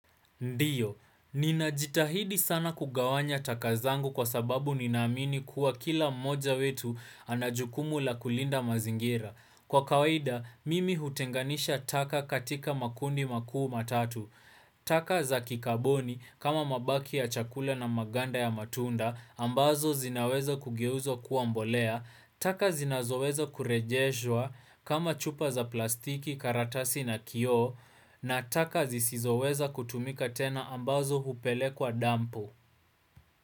Ndiyo, ninajitahidi sana kugawanya taka zangu kwa sababu ninaamini kuwa kila mmoja wetu anajukumu la kulinda mazingira. Kwa kawaida, mimi hutenganisha taka katika makundi makuu matatu. Taka za kikaboni kama mabaki ya chakula na maganda ya matunda ambazo zinaweza kugeuzwa kuwa mbolea. Taka zinazoweza kurejeshwa kama chupa za plastiki karatasi na kio na taka zisizoweza kutumika tena ambazo hupelekwa dampu.